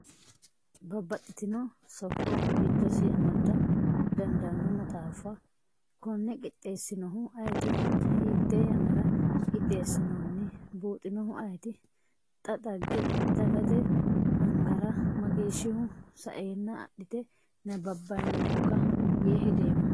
Babbaxxitino sokko giddosi amada dandaano maxaafa kone qixxeessinohu ayiiti, hiite yannara qixxeessinoni, buuxinohu ayiiti, xa dagate angara mageeshshihu saenna adhite nabbabinokka yee hedoommo .